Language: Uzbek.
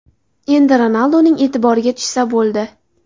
Endi Ronalduning e’tiboriga tushsa bo‘ldi.